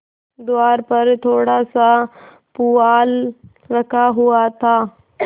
द्वार पर थोड़ासा पुआल रखा हुआ था